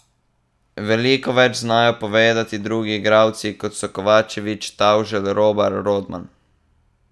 Veliko več znajo povedati drugi igralci, kot so Kovačevič, Tavželj, Robar, Rodman...